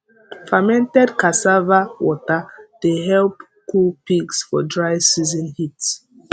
fermented cassava water dey help cool pigs for dry season heat